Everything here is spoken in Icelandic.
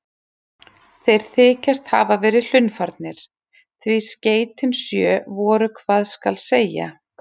Þeir þykjast hafa verið hlunnfarnir, því skeytin sjö voru hvað skal segja